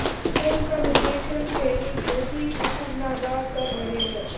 film का निर्देशन Cary Joji Fukunaga कर रहे हैं